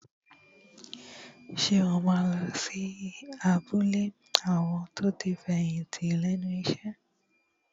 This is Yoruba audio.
Ṣé o máa lọ sí abúlé àwọn tí wọ́n ti fẹ̀yìntì lẹ́nu iṣẹ́?